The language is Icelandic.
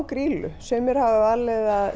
Grýlu sumir hafa valið að